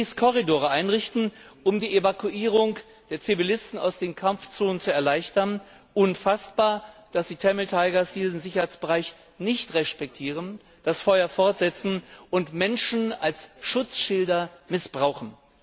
Die Regierung ließ Korridore einrichten, um die Evakuierung der Zivilisten aus den Kampfzonen zu erleichtern unfassbar, dass die Tamil Tigers diesen Sicherheitsbereich nicht respektieren, das Feuer fortsetzen und Menschen als Schutzschilder missbrauchen.